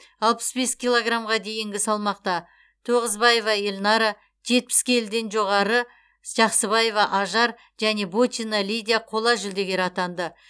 алпыс бес килограммға дейінгі салмақта тоғызбаева эльнара жетпіс келіден жоғары жақсыбаева ажар және бочина лидия қола жүлдегер атанды